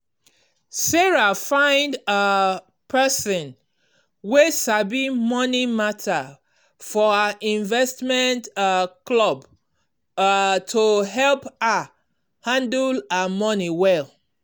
sarah find um person wey sabi money matter for her investment um club um to help her handle her money well.